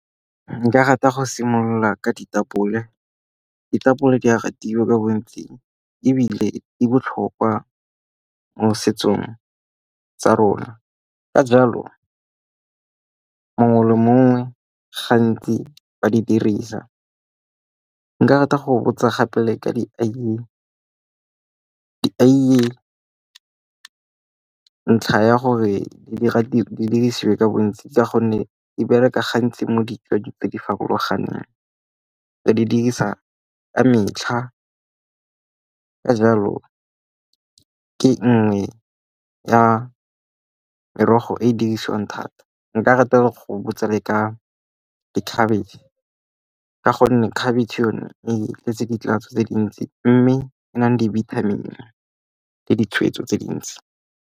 Nka rata go simolola ka ditapole, ditapole di a ratiwa ka bontsi ebile di botlhokwa mo setsong tsa rona. Ka jalo mongwe le mongwe gantsi ba di dirisa. Nka rata go botsa gape le ka dieiye, deiye ntlha ya gore dirisiwe ka bontsi ka gonne di bereka gantsi mo ditsong tse di farologaneng. Ba di dirisa ka metlha, ka jalo ke nngwe ya merogo e e dirisiwang thata. Nka rata go le botsa ka khabetšhe, gonne khabetšhe yone e tletse ditatso tse dintsi mme e nang di-vitamin-e le ditshweetso tse dintsi.